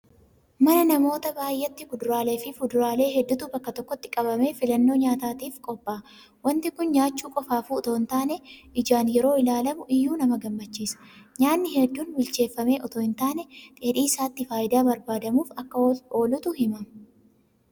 Mana namoota baay'eetti kuduraaleefi fuduraalee hedduutu bakka tokkotti qabamee filannoo nyaataatiif qophaa'a. Waanti kun nyaachuu qofaafuu itoo hin taane ijaan yeroo ilaalamu iyyuu nama gammachiisa. Nyaanni hedduun bilcheeffamee itoo hin taane dheedhii isaatti faayidaa barbaadamuuf akka oolutu himama.